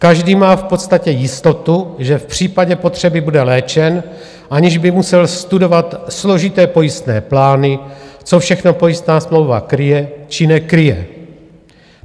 Každý má v podstatě jistotu, že v případě potřeby bude léčen, aniž by musel studovat složité pojistné plány, co všechno pojistná smlouva kryje či nekryje.